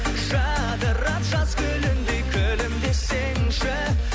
жадырап жаз гүліндей күлімдесеңші